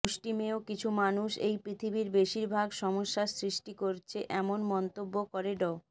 মুষ্টিমেয় কিছু মানুষ এই পৃথিবীর বেশির ভাগ সমস্যা সৃষ্টি করছে এমন মন্তব্য করে ড